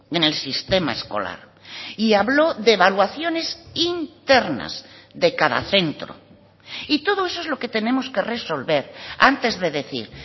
en el sistema escolar y habló de evaluaciones internas de cada centro y todo eso es lo que tenemos que resolver antes de decir